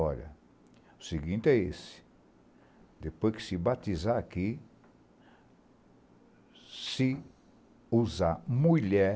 Olha, o seguinte é esse, depois que se batizar aqui, se usar mulher,